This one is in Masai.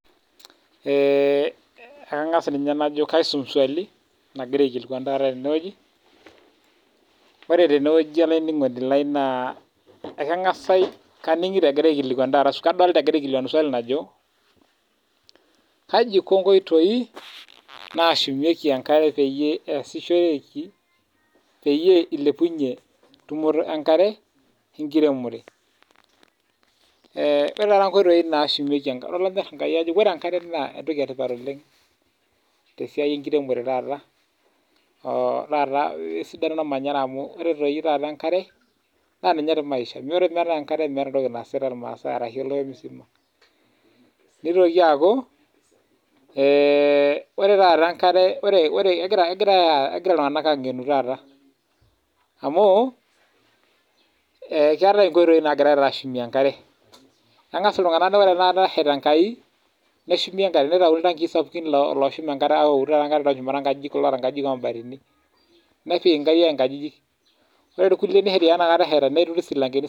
ore enkare naa entoki etipata oleng tesiai ormanyara naa kegira iltunganak aangenu neshumita amuu ketii loogira aapik iltankii netii looturito isilankeni netii